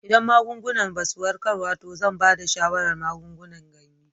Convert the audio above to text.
Idan magungunan ba su warkarwa to zan ba da shawarar magungunan ganye.